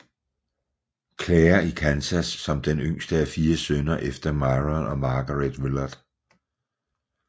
Claire i Kansas som den yngste af fire sønner efter Myron og Margeret Willard